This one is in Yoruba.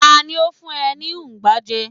ta ni o fun e ni ugba je